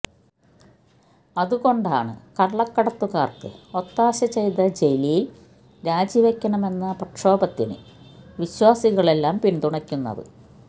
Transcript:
അതുകൊണ്ടാണ് കള്ളക്കടത്തുകാര്ക്ക് ഒത്താശ ചെയ്ത ജലില് രാജിവയ്ക്കണമെന്ന പ്രക്ഷോഭത്തിന് വിശ്വാസികളെല്ലാം പിന്തുണക്കുന്നത്